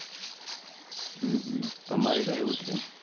તમાર કેવું છે